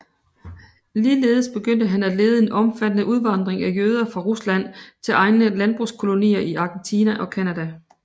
Ligeledes begyndte han at lede en omfattende udvandring af jøder fra Rusland til egne landbrugskolonier i Argentina og Canada